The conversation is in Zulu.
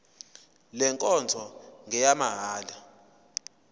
le nkonzo ngeyamahala